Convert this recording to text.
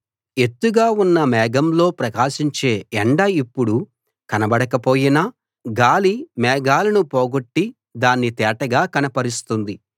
ఎత్తుగా ఉన్న మేఘంలో ప్రకాశించే ఎండ ఇప్పుడు కనబడకపోయినా గాలి మేఘాలను పోగొట్టి దాన్ని తేటగా కనపరుస్తుంది